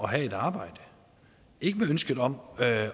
have et arbejde ikke med ønsket om at